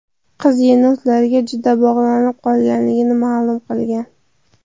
Qiz yenotlarga juda bog‘lanib qolganligini ma’lum qilgan.